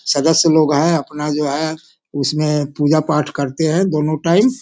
सदस्‍य लोग है अपना जो है उसमें पूजा पाठ करते है दोनों टाइम ।